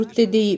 Rutte deyib.